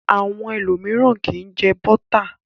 Àwọn ẹlòmíràn kì í jẹ bọ́tà.